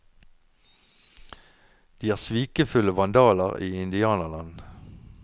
De er svikefulle vandaler i indianerland.